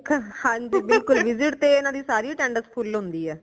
ਸਿੱਖਣ ਹਾਂਜੀ ਬਿਲਕੁਲ visit ਤੇ ਇਨਾ ਦੀ ਸਾਰੀ attendance ਫੁਲ ਹੁੰਦੀ ਹੈ